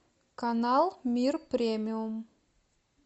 канал мир премиум